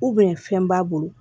fɛn b'a bolo